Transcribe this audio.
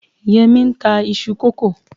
Yẹmí n ta isu kókò